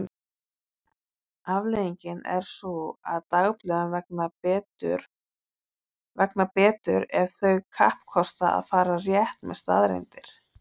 Afleiðingin er sú að dagblöðum vegnar betur ef þau kappkosta að fara rétt með staðreyndir.